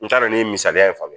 N t'a dɔn n ye misaliya in faga